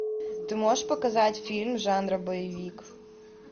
ты можешь показать фильм жанра боевик